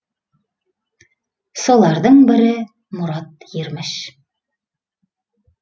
солардың бірі мұрат ерміш